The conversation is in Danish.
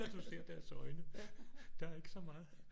Når du ser deres øjne der er ikke så meget